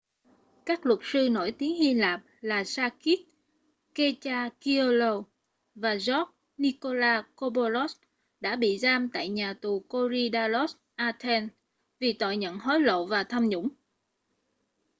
các luật sư nổi tiếng hy lạp là sakis kechagioglou và george nikolakopoulos đã bị giam tại nhà tù korydallus athens vì tội nhận hối lộ và tham nhũng